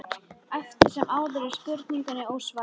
Eftir sem áður er spurningunni ósvarað.